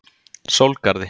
Sólgarði